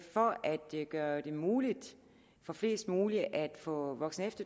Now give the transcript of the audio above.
gøre det muligt for flest mulige at få voksen og